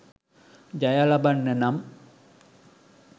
ජය ලබන්න නම්